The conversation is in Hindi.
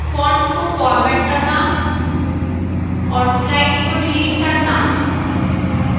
fonts को format करना और slides को डिलीट करना